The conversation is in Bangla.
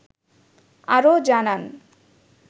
আরো জানান